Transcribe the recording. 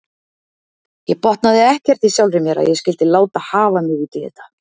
Ég botnaði ekkert í sjálfri mér að ég skyldi láta hafa mig út í þetta.